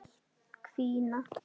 Láta hvína.